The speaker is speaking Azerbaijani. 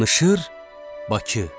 Danışır Bakı.